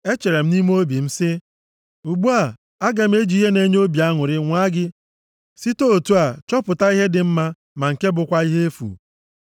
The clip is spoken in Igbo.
Echere m nʼime obi m sị, Ugbu a, aga m eji ihe na-enye obi aṅụrị nwaa gị site otu a chọpụta ihe dị mma, ma nke a bụkwa ihe efu.